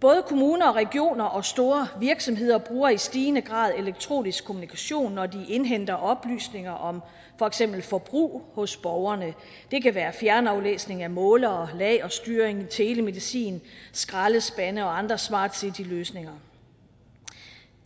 både kommuner regioner og store virksomheder bruger i stigende grad elektronisk kommunikation når de indhenter oplysninger om for eksempel forbrug hos borgerne det kan være fjernaflæsning af målere lagerstyring telemedicin skraldespande og andre smart city løsninger